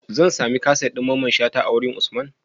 Zan samu kaset din mamman shata a wajan usman?